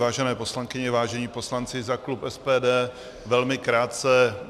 Vážené poslankyně, vážení poslanci, za klub SPD velmi krátce.